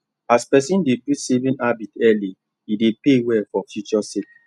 as person dey build saving habit early e dey pay well for future sake